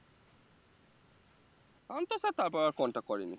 শান্ত sir তারপর আর contact করেনি